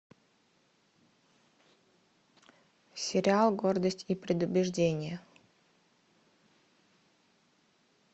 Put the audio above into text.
сериал гордость и предубеждение